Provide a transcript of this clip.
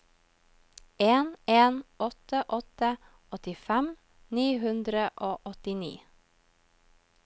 en en åtte åtte åttifem ni hundre og åttini